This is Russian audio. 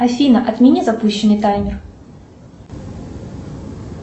афина отмени запущенный таймер